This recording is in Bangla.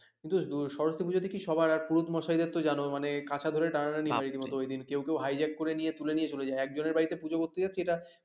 কিন্তু সরস্বতী পুজোতে কি সবাই পুরোহিত মশাইদের তো জানো মানে কাছা ধরে টানাটানি হয় ওইদিন কেউ কেউ hijack করে নিয়ে তুলে নিয়ে চলে যায় একজনের বাড়িতে পূজো করতে যাচ্ছে এটা,